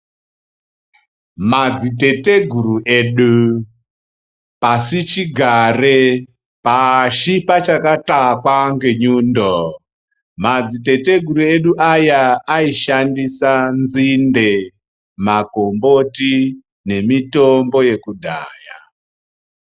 Madziteteguru edu pasi chigare pasi pachakatakwa nenyundo madziteteguru edu aya aishandisa nzinde makomboti nemitombo yekudhaya.